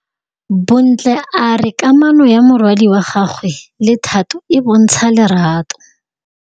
Bontle a re kamanô ya morwadi wa gagwe le Thato e bontsha lerato.